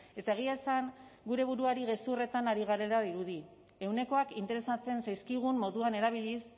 eta egia esan gure buruari gezurretan ari garela dirudi ehunekoak interesatzen zaizkigun moduan erabiliz